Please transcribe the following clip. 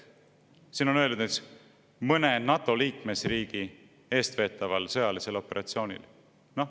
Siin on öeldud, et mõne NATO liikmesriigi eestveetaval sõjalisel operatsioonil.